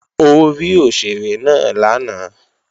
Ó rí òṣèré náà lánàá